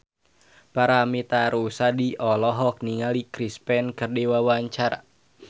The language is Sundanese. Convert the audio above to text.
Paramitha Rusady olohok ningali Chris Pane keur diwawancara